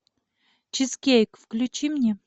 чизкейк включи мне